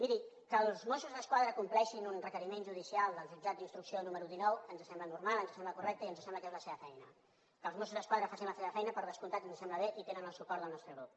miri que els mossos d’esquadra compleixin un requeriment judicial del jutjat d’instrucció número dinou ens sembla normal ens sembla correcte i ens sembla que és la seva feina que els mossos d’esquadra facin la seva feina per descomptat ens sembla bé i tenen el suport del nostre grup